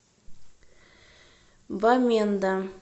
баменда